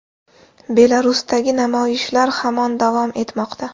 Belarusdagi namoyishlar hamon davom etmoqda.